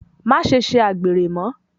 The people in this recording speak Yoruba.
Maṣe ṣe àgbèrè mọ́!